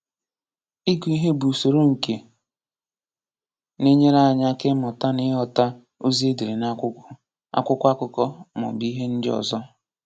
Ịgụ ihe bụ usoro nke na-enyere anyị aka ịmụta na ịghọta ozi e dere n'akwụkwọ, akwụkwọ akụkọ, maọbụ ihe ndị ọzọ.